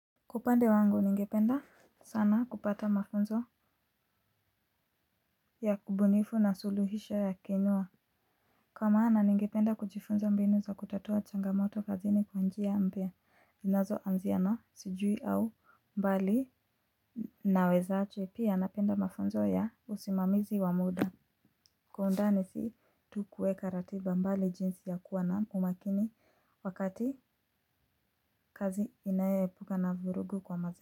Kwa upande wangu ningependa sana kupata mafunzo ya kubunifu na suluhisho ya kenua. Kwa maana ningependa kujifunza mbinu za kutatua changamoto kazi ni kwa njia ambayo linazo anzia na sijui au mbali naweza ache pia napenda mafunzo ya usimamizi wa muda. Kwa undani si tu kuweka ratiba mbali jinsi ya kuwa na umakini wakati kazi inayoepuka na vurugu kwa mazini.